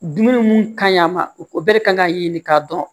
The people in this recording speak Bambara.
Dumuni mun ka ɲi a ma ko bɛɛ de kan k'a ɲɛɲini k'a dɔn